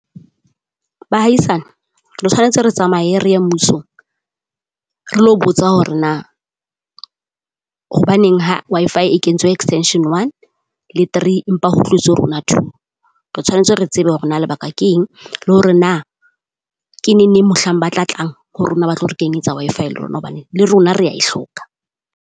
Bahaisane, re tshwanetse re tsamaye re mmusong. Re lo botsa hore na, hobaneng ha Wi-Fi e kentswe Extension one le three empa ho tlotswe rona two. Re tshwanetse re tsebe hore na lebaka keng, le hore na ke neneng mohlang ba tla tlang ho rona ba tlo re kenyetsa Wi-Fi le rona hobane le rona rea e hloka.